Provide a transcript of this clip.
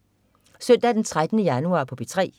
Søndag den 13. januar - P3: